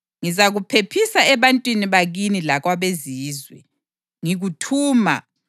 Ngizakuphephisa ebantwini bakini lakwabeZizwe. Ngikuthuma